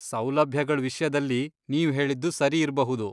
ಸೌಲಭ್ಯಗಳ್ ವಿಷ್ಯದಲ್ಲಿ ನೀವ್ಹೇಳಿದ್ದು ಸರಿ ಇರ್ಬಹುದು.